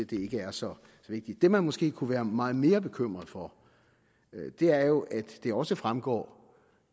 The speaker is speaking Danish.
det er så vigtigt det man måske kunne være meget mere bekymret for er jo at det også fremgår